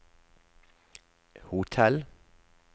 hotell